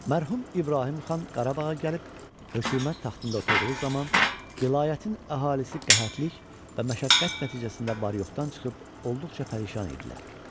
Mərhum İbrahim xan Qarabağa gəlib hökumət taxtında oturduğu zaman vilayətin əhalisi qəhətlik və məşəqqət nəticəsindən var-yoxdan çıxıb olduqca pərişan idilər.